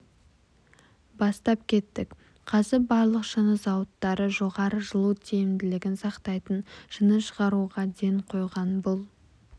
бастап кеттік қазір барлық шыны зауыттары жоғары жылу тиімділігін сақтайтын шыны шығаруға ден қойған бұл